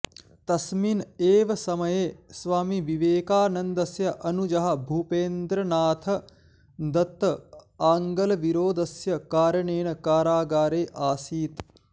तस्मिन् एव समये स्वामिविवेकानन्दस्य अनुजः भूपेन्द्रनाथ दत्त आङ्ग्लविरोधस्य कारणेन कारागारे आसीत्